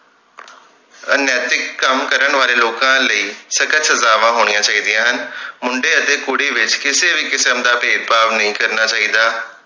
ਅਨੈਤਿਕ ਕੰਮ ਕਰਨ ਵਾਲੇ ਲੋਕਾਂ ਲਈ ਸਖਤ ਸਜਾਵਾਂ ਹੋਣੀਆਂ ਚਾਹੀਦੀਆਂ ਹਨ ਮੁੰਡੇ ਅਤੇ ਕੁੜੀ ਵਿਚ ਕਿਸੇ ਵੀ ਕਿਸਮ ਦਾ ਭੇਦਭਾਵ ਨਹੀਂ ਕਰਨਾ ਚਾਹੀਦਾ